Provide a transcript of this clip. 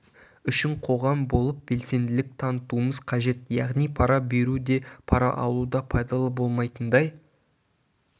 үшін қоғам болып белсенділік танытуымыз қажет яғни пара беру де пара алу да пайдалы болмайтындай